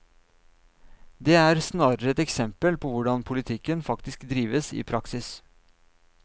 Det er snarere et eksempel på hvordan politikken faktisk drives i praksis.